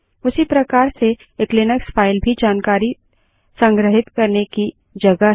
उसी प्रकार से एक लिनक्स फाइल भी जानकारी को संग्रहित करने की जगह है